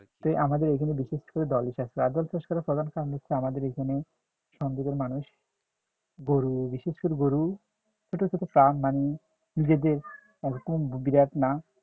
তো আমাদের এখানে বিশেষ করে দলে চাষ আর দল চাষ করার প্রধান কারণ হচ্ছে আমাদের এখানে সন্দীপের মানুষ গরু বিশেষ করে গরু